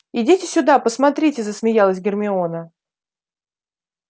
идите сюда посмотрите засмеялась гермиона